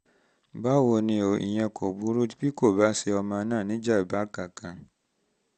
báwo ni o? o? ìyẹn um kò burú um tí kò um bá ṣe ọmọ náà ní ìjàm̀bá kankan